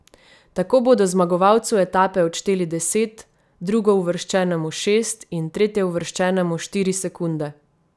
Tako bodo zmagovalcu etape odšteli deset, drugouvrščenemu šest in tretjeuvrščenemu štiri sekunde.